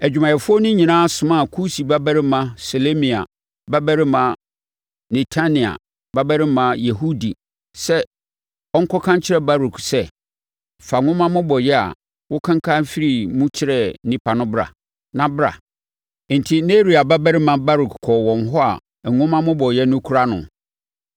adwumayɛfoɔ no nyinaa somaa Kusi babarima Selemia babarima Netania babarima Yehudi sɛ ɔnkɔka nkyerɛ Baruk sɛ, “Fa nwoma mmobɔeɛ a wokenkane firii mu kyerɛɛ nnipa no bra, na bra.” Enti Neria babarima Baruk kɔɔ wɔn hɔ a nwoma mmobɔeɛ no kura no.